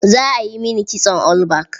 Za a yi mini kitson all back.